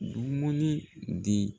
Dumuni di